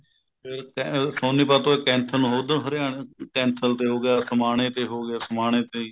ਇਹੀ ਤਾਂ ਹੈ ਸੋਨੀਪਤ ਤੋਂ ਇਹ ਕੈਂਥਲ ਨੂੰ ਉੱਧਰੋ ਹਰਿਆਣਾ ਕੈਂਥਲ ਤੇ ਹੋ ਗਿਆ ਸਮਾਣੇ ਤੇ ਹੋ ਗਿਆ ਸਮਾਣੇ ਤੇ